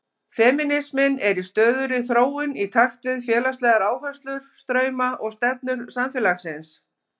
Femínisminn er í stöðugri þróun í takt við félagslegar áherslur, strauma og stefnur samfélagsins.